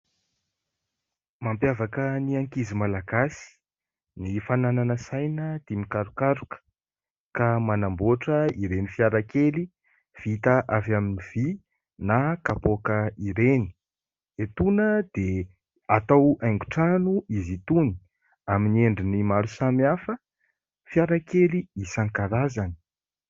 Mampiavaka ny ankizy Malagasy ny fananana saina tia mikarokaroka ka manamboatra ireny fiara kely vita avy amin'ny vy na kapoaka ireny. Etoana dia atao haingon-trano izy itony. Amin'ny endriny maro samihafa, fiara kely isan-karazany.